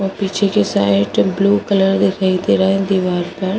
वो पीछे के साइड ब्लू कलर दिखाई दे रहा है दीवार पर।